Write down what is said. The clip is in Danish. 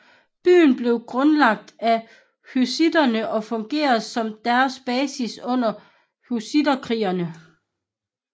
Byen blev grundlagt af hussitterne og fungerede som deres basis under hussitterkrigene